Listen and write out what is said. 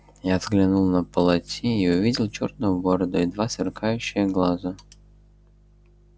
я взглянул на полати и увидел чёрную бороду и два сверкающие глаза